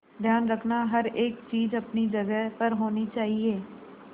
ध्यान रखना हर एक चीज अपनी जगह पर होनी चाहिए